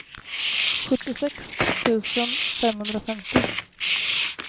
sjuttiosex tusen femhundrafemtio